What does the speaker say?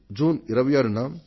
June 26న